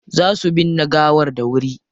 Za su binne gawar dawuri.